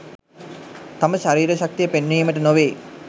තම ශරීර ශක්තිය පෙන්වීමට නොවේ.